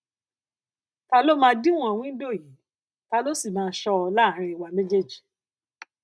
ta ló máa díwòn wíńdò yìí ta ló sì máa ṣó ọ láàárín wa méjèèjì